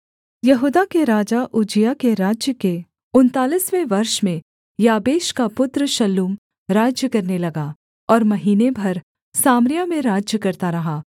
यहूदा के राजा उज्जियाह के राज्य के उनतालीसवें वर्ष में याबेश का पुत्र शल्लूम राज्य करने लगा और महीने भर सामरिया में राज्य करता रहा